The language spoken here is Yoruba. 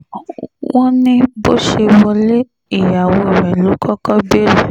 wọ́n ní bó ṣe wọlé ìyàwó rẹ̀ ló kọ́kọ́ béèrè